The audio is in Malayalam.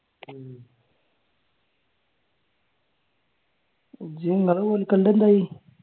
ഇജ്ജ് നിങ്ങളുടെ കോൽക്കളിടെ എന്തായി?